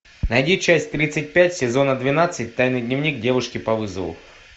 найди часть тридцать пять сезона двенадцать тайный дневник девушки по вызову